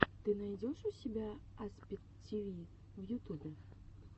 ты найдешь у себя аспид тиви в ютубе